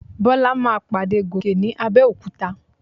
Bọ́lá máa pàdé Gòkè ní Abẹ́òkúta.